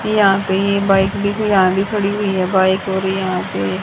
यहां पे ये बाइक भी खड़ी हुई हैं बाइक और यहां पे --